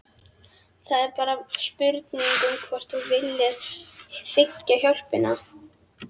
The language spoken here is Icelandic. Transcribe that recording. Það er bara spurning um hvort þú viljir þiggja hjálpina.